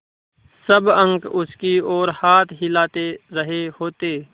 सब अंक उसकी ओर हाथ हिला रहे होते